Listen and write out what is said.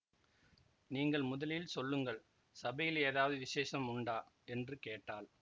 நீங்கள் முதலில் சொல்லுங்கள் சபையில் ஏதாவது விசேஷம் உண்டா என்று கேட்டாள்